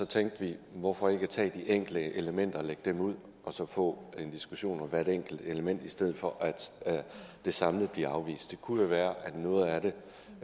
tænkte vi hvorfor ikke tage de enkelte elementer og lægge dem ud og så få en diskussion om hvert enkelt element i stedet for at det samlet bliver afvist det kunne jo være at noget af det